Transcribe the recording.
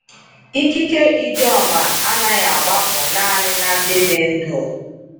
Ikike Ijoma anaghị agbapụ naanị na ndị dị ndụ.